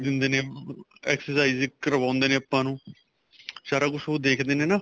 ਦਿੰਦੇ ਨੇ exercises ਕਰਵਾਉਦੇ ਨੇ ਆਪਾਂ ਨੂੰ ਸਾਰਾ ਕੁੱਛ ਉਹ ਦੇਖਦੇ ਨੇ ਨਾ